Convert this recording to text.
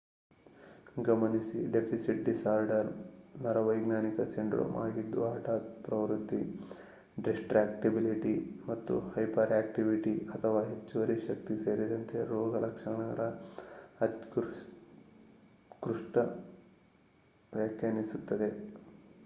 ಗಮನಿಸಿ deficit disorder"ನರವೈಜ್ಞಾನಿಕ syndrome ಆಗಿದ್ದು ಹಠಾತ್ ಪ್ರವೃತ್ತಿ distractibility ಮತ್ತು hyperactivity ಅಥವಾ ಹೆಚ್ಚುವರಿ ಶಕ್ತಿ ಸೇರಿದಂತೆ ರೋಗಲಕ್ಷಣಗಳ ಅತ್ಯುತ್ಕೃಷ್ಟ ವ್ಯಾಖ್ಯಾನಿಸುತ್ತದೆ